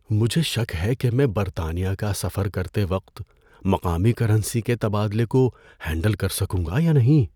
مجھے شک ہے کہ میں برطانیہ کا سفر کرتے وقت مقامی کرنسی کے تبادلہ کو ہینڈل کر سکوں گا یا نہیں۔